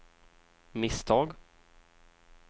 misstag